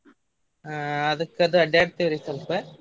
ಹಾ ಅದಕ್ಕದು ಅಡ್ಯಾಡ್ತೇವ್ರಿ ಸ್ವಲ್ಪ.